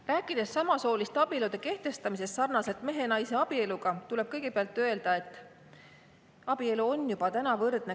Rääkides samasooliste abielude kehtestamisest sarnaselt mehe ja naise abieluga, tuleb kõigepealt öelda, et abielu on juba täna võrdne.